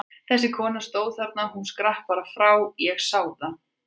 Þessi kona stóð þarna, hún skrapp bara frá, ég sá það!